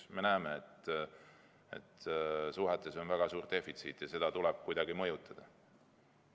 Me näeme, et suhetes on väga suur defitsiit ja seda tuleb kuidagi mõjutada.